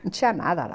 Não tinha nada lá.